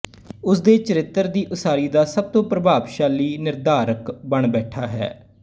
ਉਸ ਦੇ ਚਰਿੱਤਰ ਦੀ ਉਸਾਰੀ ਦਾ ਸਭ ਤੋਂ ਪ੍ਰਭਾਵਸ਼ਾਲੀ ਨਿਰਧਾਰਕ ਬਣ ਬੈਠਦਾ ਹੈ